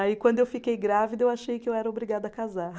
Aí, quando eu fiquei grávida, eu achei que eu era obrigada a casar.